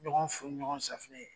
Ɲɔgɔn fu ni ɲɔgɔn safinɛ ye